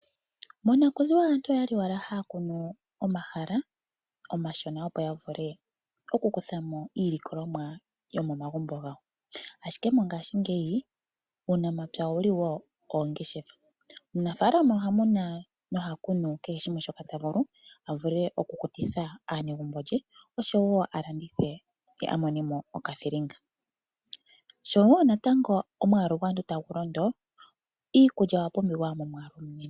Monakuziwa aantu oya li wala haya kunu omahala omashona, opo ya vule okukutha mo iilikolomwa yomomagumbo gawo, ashike mongashingeyi uunamapya owu li wo oongeshefa. Omunafalama oha muna noha kunu kehe shimwe shoka ta vulu a vule okukutitha aanegumbo lye, oshowo alandithe ye a mone mo okathilinga. shoo natango omwalu gwaantu tagu londo iikulya oya pumbiwa momwaalu omunene.